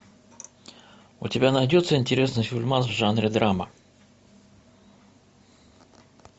у тебя найдется интересный фильмас в жанре драма